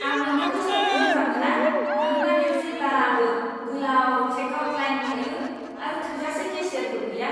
आं नोंथांनि स्ट'रखौ मोजां मोना मानोना बेयाव जेब्लाबो गोलाव चेकआउट लाइन थायो आरो थोजासे केशियारफोर गैया।